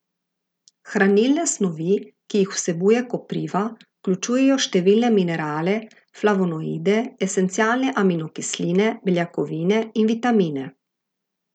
Hranilne snovi, ki jih vsebuje kopriva, vključujejo številne minerale, flavonoide, esencialne aminokisline, beljakovine in vitamine.